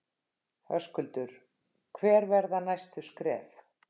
Höskuldur: Hver verða næstu skref?